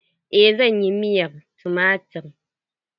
Eh zan yi miyar tumatir.